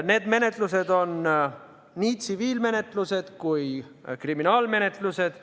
Need menetlused on nii tsiviilmenetlused kui ka kriminaalmenetlused.